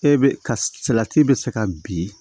E be ka salati bɛ se ka bin